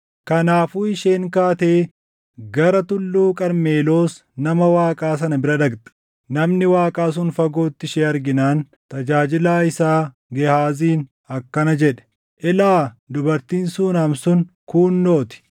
Kanaafuu isheen kaatee gara Tulluu Qarmeloos nama Waaqaa sana bira dhaqxe. Namni Waaqaa sun fagootti ishee arginaan tajaajilaa isaa Gehaaziin akkana jedhe; “Ilaa! Dubartiin Suunam sun kuunnoo ti!